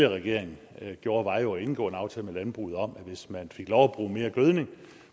regering gjorde var jo at indgå en aftale med landbruget om at hvis man fik lov at bruge mere gødning